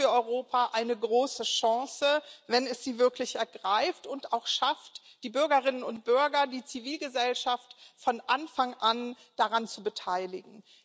Das ist für Europa eine große Chance, wenn es sie wirklich ergreift und es auch schafft, die Bürgerinnen und Bürger die Zivilgesellschaft von Anfang an daran zu beteiligen.